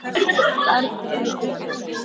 Börn eru grimm.